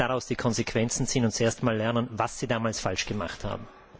Sie müssen daraus die Konsequenzen ziehen und erst mal lernen, was sie damals falsch gemacht haben.